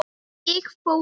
Ég fór út.